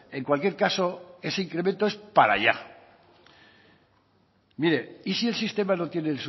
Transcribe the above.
en cualquier caso ese incremento es para ya mire y si el sistema no tiene